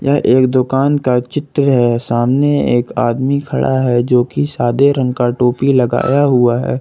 यह एक दुकान का चित्र सामने एक आदमी खड़ा है जोकि सादे रंग का टोपी लगाया हुआ है।